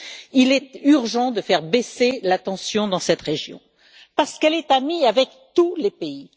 Il est urgent de faire baisser la tension dans cette région, parce qu'elle est amie avec tous les pays.